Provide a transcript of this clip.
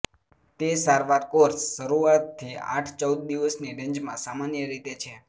તે સારવાર કોર્સ શરૂઆતથી આઠ ચૌદ દિવસની રેન્જમાં સામાન્ય રીતે છે